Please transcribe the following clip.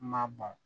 N ma bɔn